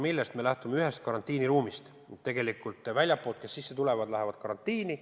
Me oleme lähtunud ühest karantiiniruumist: need, kes tulevad väljastpoolt Eestisse, lähevad karantiini.